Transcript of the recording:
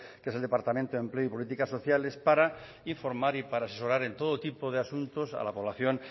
que es del departamento de empleo y políticas sociales para informar y para asesorar en todo tipo de asuntos a la población